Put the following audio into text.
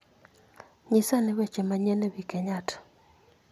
Nyisa ane weche manyien e wi kenyatta